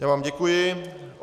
Já vám děkuji.